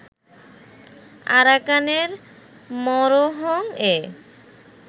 আরাকানের মোরোহং-এ